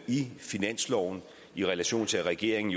finansloven i relation til at regeringen